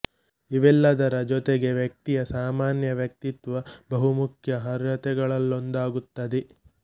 ಇವೆಲ್ಲದರ ಜೊತೆಗೆ ವ್ಯಕ್ತಿಯ ಸಾಮಾನ್ಯ ವ್ಯಕ್ತಿತ್ವ ಬಹು ಮುಖ್ಯ ಅರ್ಹತೆಗಳಲ್ಲೊಂದಾಗುತ್ತದೆ